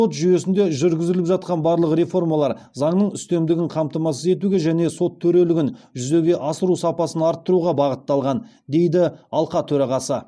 сот жүйесінде жүргізіліп жатқан барлық реформалар заңның үстемдігін қамтамасыз етуге және сот төрелігін жүзеге асыру сапасын арттыруға бағытталған дейді алқа төрағасы